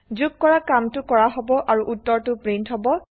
যোগ কৰা কামটো কৰা হব আৰু উত্তৰটো প্ৰিন্ট হব